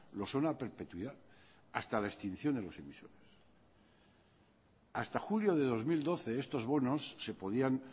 lo son a perpetuidad hasta la extinción de los hasta julio de dos mil doce estos bonos se podían